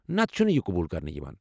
نتہٕ چھنہٕ یہ قبوٗل کرنہٕ یوان ۔